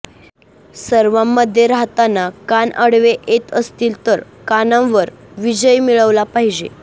सर्वांमध्ये राहताना कान आडवे येत असतील तर कानांवर विजय मिळविला पाहिजे